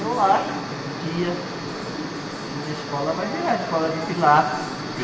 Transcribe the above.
E eu acho que um dia a minha escola vai virar a escola de Pilates, porque...